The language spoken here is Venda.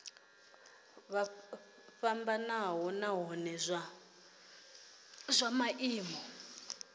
fhambanaho nahone zwa maimo a